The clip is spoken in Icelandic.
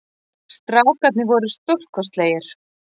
Strákarnir voru stórkostlegir